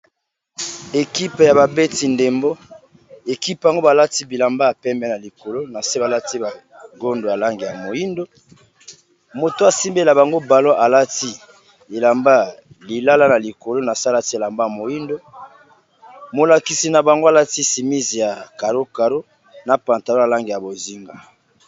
Équipé ya babeti ndembo, équipe bango balati bilamba ya pembe na likolo na se balati bagondo a langi ya moyindo moto asimbela bango balo alati elamba lilala na likolo na salati elamba ya moyindo molakisi na bango alati chémise ya Caro Caro na pantalon ya langi ya bozinga.